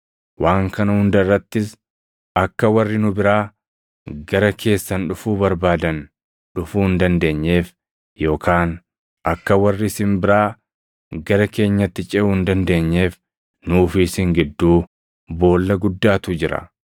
Waan kana hunda irrattis, akka warri nu biraa gara keessan dhufuu barbaadan dhufuu hin dandeenyeef yookaan akka warri isin biraa gara keenyatti ceʼuu hin dandeenyeef nuu fi isin gidduu boolla guddaatu jira.’